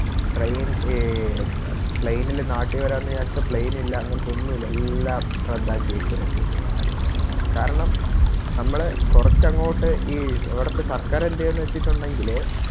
Train ഈ Plane ല് നാട്ടില് വേരാണ് വിചാരിച്ചാ Plane ഇല്ല അങ്ങനത്തെ ഒന്നുല്ല എല്ലാം റദ്ധാക്കിയേക്കുവാരുന്നു കാരണം നമ്മള് കൊറച്ചങ്ങോട്ട് ഈ അവിടുത്തെ സർക്കാർ എന്തേയാന്ന് വെച്ചിട്ടുണ്ടെങ്കില്